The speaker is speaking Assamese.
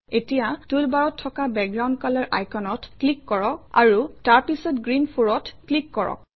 এতিয়া টুলবাৰত থকা বেকগ্ৰাউণ্ড কলৰ আইকনত ক্লিক কৰক আৰু তাৰপিছত গ্ৰীণ 4 অত ক্লিক কৰক